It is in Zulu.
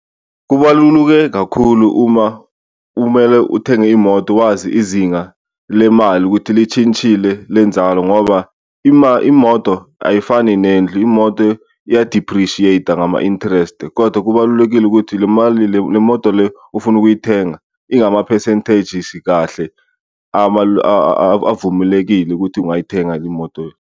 Kubaluluke kakhulu uma umele uthenge imoto wazi izinga lemali ukuthi litshintshile lenzalo ngoba imoto ayifani nendlu, imoto iya-depreciate-a ngama-interest kodwa kubalulekile ukuthi le mali le, le moto le ofuna ukuyithenga ingama-percentages kahle avumelekile ukuthi ungayithenga imoto.